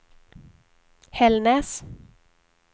Hällnäs